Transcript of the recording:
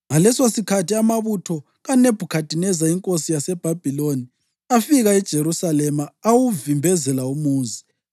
Ngalesosikhathi amabutho kaNebhukhadineza inkosi yaseBhabhiloni afika eJerusalema, awuvimbezela umuzi,